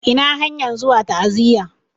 Ina hanyan zuwa ta'aziya